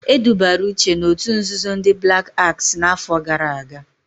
Edubara Uche n'otu nzuzo ndị Blak Aks n'áfọ̀ gara aga.